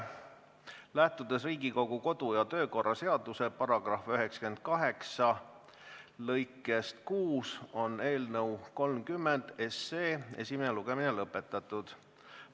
Lähtudes Riigikogu kodu- ja töökorra seaduse § 98 lõikest 6, on eelnõu 30 esimene lugemine lõpetatud.